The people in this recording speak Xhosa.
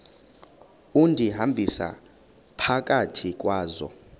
undihambisa phakathi kwazo